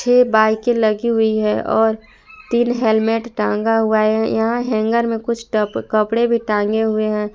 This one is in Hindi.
छे बाइके के लगी हुई है और तीन हेलमेट टांगा हुआ है यहां हैंगर में कुछ टप कपड़े भी टांगा हुए हैं।